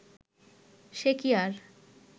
সে কি আর